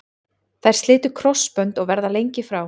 Þær slitu krossbönd og verða lengi frá.